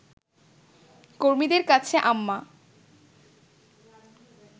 কর্মীদের কাছে আম্মা